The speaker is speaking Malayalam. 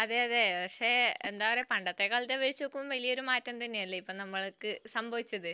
അതെയതെ പക്ഷെ എന്ത പറയാ പണ്ടത്തേക്കാൾ അപേക്ഷിച്ചു നോക്കുമ്പോൾ വലിയൊരു മാറ്റം തന്നെയല്ലേ ഇപ്പം നമ്മൾക്ക് സംഭവിച്ചത്